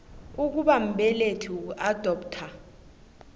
ukuba mbelethi ukuadoptha